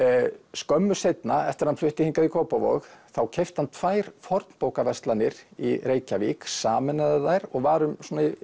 skömmu seinna eftir að hann flutti hingað í Kópavog þá keypti hann tvær í Reykjavík sameinaði þær og var